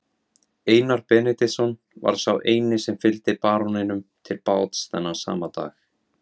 Einar Benediktsson var sá eini sem fylgdi baróninum til báts þennan sama dag.